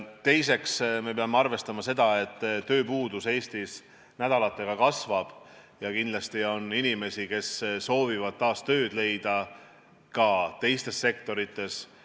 Teiseks, me peame arvestama seda, et tööpuudus Eestis nädalatega kasvab ja kindlasti on inimesi, kes soovivad taas tööd leida ka teistes sektorites.